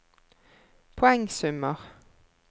poengsummer